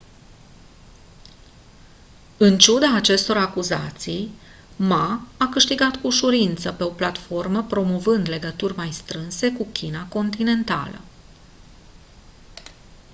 în ciuda acestor acuzații ma a câștigat cu ușurință pe o platformă promovând legături mai strânse cu china continentală